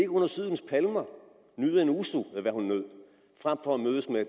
under sydens palmer nyde en ouzo